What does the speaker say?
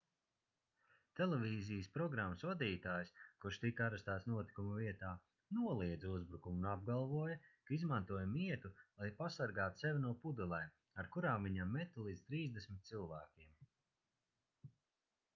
televīzijas programmas vadītājs kurš tika arestēts notikuma vietā noliedza uzbrukumu un apgalvoja ka izmantoja mietu lai pasargātu sevi no pudelēm ar kurām viņam meta līdz trīsdesmit cilvēkiem